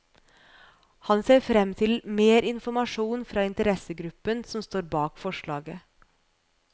Han ser frem til mer informasjon fra interessegruppen som står bak forslaget.